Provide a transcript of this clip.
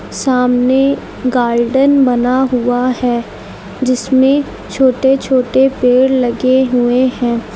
सामने गार्डन बना हुआ है जिसमें छोटे छोटे पेड़ लगे हुए हैं।